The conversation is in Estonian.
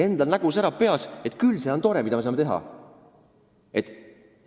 " Endal nägu säras peas – küll see on tore, mida me saame teha!